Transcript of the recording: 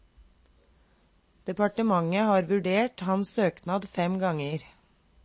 Departementet har vurdert hans søknad fem ganger.